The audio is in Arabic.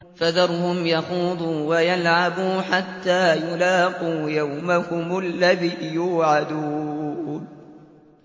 فَذَرْهُمْ يَخُوضُوا وَيَلْعَبُوا حَتَّىٰ يُلَاقُوا يَوْمَهُمُ الَّذِي يُوعَدُونَ